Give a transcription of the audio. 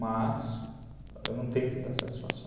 Mas eu não tenho que dar satisfação.